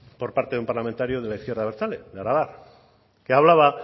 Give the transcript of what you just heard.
por parte de un parlamentario de la izquierda abertzale de aralar que hablaba